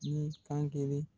Ni kan kelen